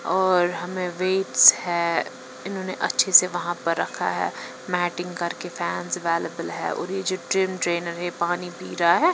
और हमें वेट्स है इन्होंने अच्छे से वहां पर रखा है मैटिंग करके फैंस अवेलेबल हैऔर ये जो ड्रिम ट्रेनर है पानी पी रहा है।